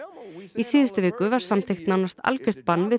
í síðustu viku var samþykkt nánast algjört bann við